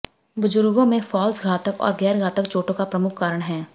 बुजुर्गों में फॉल्स घातक और गैर घातक चोटों का प्रमुख कारण हैं